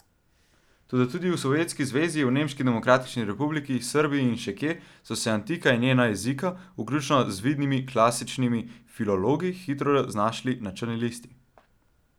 Toda tudi v Sovjetski zvezi, v Nemški demokratični republiki, Srbiji in še kje so se antika in njena jezika, vključno z vidnimi klasičnimi filologi, hitro znašli na črni listi.